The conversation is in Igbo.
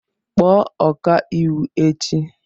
Kpọọ ọkà iwu echi!